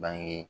Bange